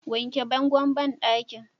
wanke bangon banɗakin!